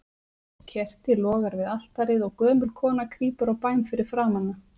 Kerti logar við altarið, og gömul kona krýpur á bæn fyrir framan það.